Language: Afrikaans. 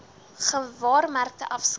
n gewaarmerkte afskrif